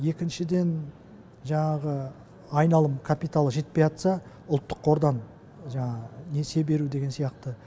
екіншіден жаңағы айналым капиталы жетпей жатса ұлттық қордан жаңағы несие беру деген сияқты